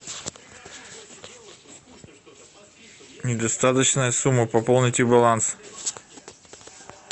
недостаточная сумма пополните баланс